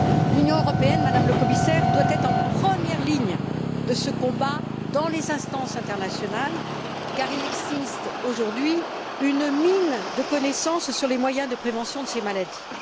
L'Union européenne, Madame le Commissaire, doit être en première ligne de ce combat dans les instances internationales car il existe, aujourd'hui, une mine de connaissances sur les moyens de prévention de ces maladies.